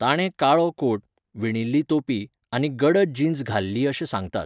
ताणें काळो कोट, विणिल्ली तोपी आनी गडद जीन्स घाल्ली अशें सांगतात